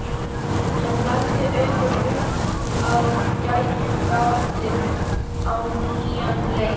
Hann lagði augun upp að gægjugatinu á nýjan leik.